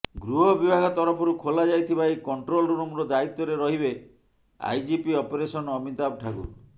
ଗୃହ ବିଭାଗ ତରଫରୁ ଖୋଲା ଯାଇଥିବା ଏହି କଣ୍ଟ୍ରୋଲ ରୁମର ଦାୟିତ୍ୱରେ ରହିବେ ଆଇଜିପି ଅପରେସନ ଅମିତାଭ ଠାକୁର